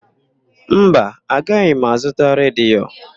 Mba, agaghị m azụta redio.